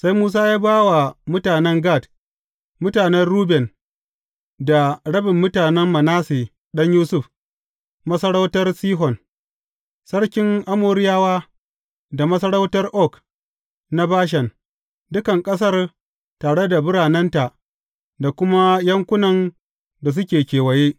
Sai Musa ya ba wa mutanen Gad, mutanen Ruben, da rabin mutanen Manasse ɗan Yusuf, masarautar Sihon, sarkin Amoriyawa, da masarautar Og na Bashan, dukan ƙasar, tare da biranenta da kuma yankunan da suke kewaye.